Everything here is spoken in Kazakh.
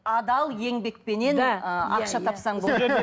адал еңбекпенен ы ақша тапсаң болды